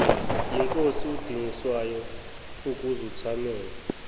yinkosi udingiswayo ukuzothamela